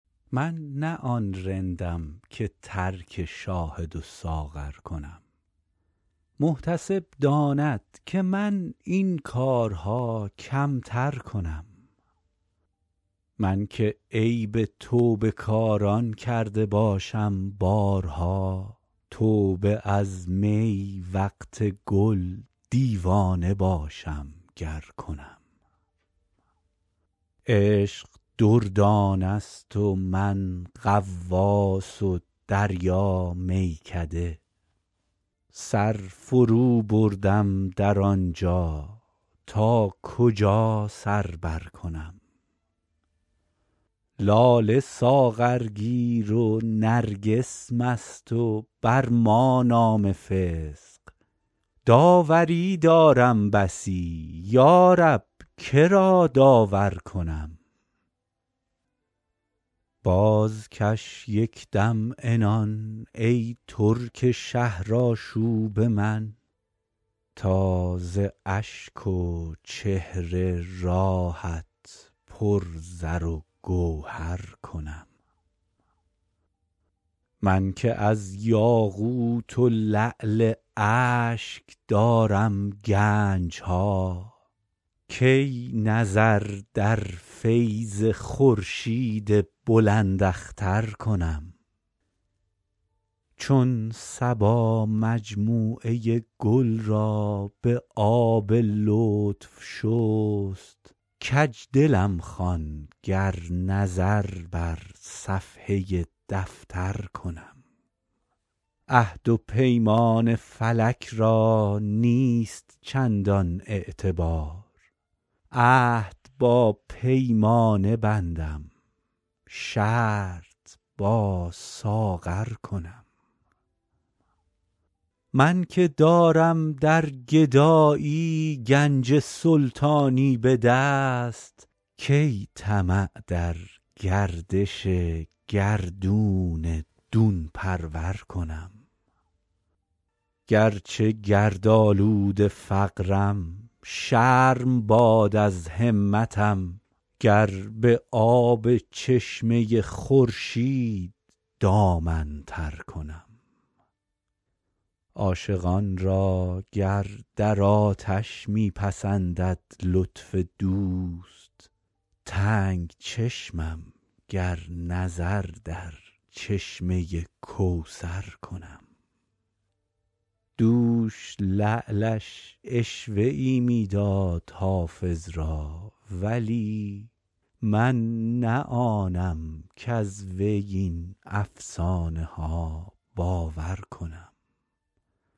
من نه آن رندم که ترک شاهد و ساغر کنم محتسب داند که من این کارها کمتر کنم من که عیب توبه کاران کرده باشم بارها توبه از می وقت گل دیوانه باشم گر کنم عشق دردانه ست و من غواص و دریا میکده سر فروبردم در آن جا تا کجا سر برکنم لاله ساغرگیر و نرگس مست و بر ما نام فسق داوری دارم بسی یا رب که را داور کنم بازکش یک دم عنان ای ترک شهرآشوب من تا ز اشک و چهره راهت پر زر و گوهر کنم من که از یاقوت و لعل اشک دارم گنج ها کی نظر در فیض خورشید بلنداختر کنم چون صبا مجموعه گل را به آب لطف شست کج دلم خوان گر نظر بر صفحه دفتر کنم عهد و پیمان فلک را نیست چندان اعتبار عهد با پیمانه بندم شرط با ساغر کنم من که دارم در گدایی گنج سلطانی به دست کی طمع در گردش گردون دون پرور کنم گر چه گردآلود فقرم شرم باد از همتم گر به آب چشمه خورشید دامن تر کنم عاشقان را گر در آتش می پسندد لطف دوست تنگ چشمم گر نظر در چشمه کوثر کنم دوش لعلش عشوه ای می داد حافظ را ولی من نه آنم کز وی این افسانه ها باور کنم